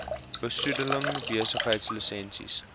besoedeling besigheids lisensies